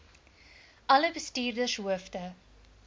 alle bestuurders hoofde